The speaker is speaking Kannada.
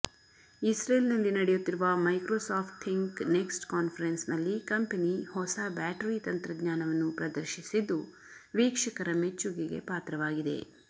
ಇಸ್ರೆಲ್ನಲ್ಲಿ ನಡೆಯುತ್ತಿರುವ ಮೈಕ್ರೋಸಾಫ್ಟ್ ಥಿಂಕ್ ನೆಕ್ಸ್ಟ್ ಕಾನ್ಫರೆನ್ಸ್ನಲ್ಲಿ ಕಂಪೆನಿ ಹೊಸ ಬ್ಯಾಟರಿ ತಂತ್ರಜ್ಞಾನವನ್ನು ಪ್ರದರ್ಶಿಸಿದ್ದು ವೀಕ್ಷಕರ ಮೆಚ್ಚುಗೆಗೆ ಪಾತ್ರವಾಗಿದೆ